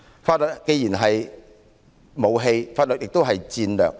法律既是武器，也是戰略。